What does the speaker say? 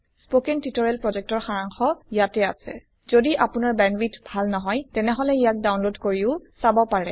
কথন শিক্ষণ প্ৰকল্পৰ সাৰাংশ ইয়াত আছে যদি আপোনাৰ ব্যান্ডউইডথভাল নহয় তেনেহলে ইয়াক ডাউনলোড কৰি চাব পাৰে